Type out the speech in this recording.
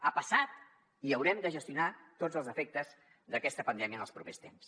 ha passat i haurem de gestionar tots els efectes d’aquesta pandèmia en els propers temps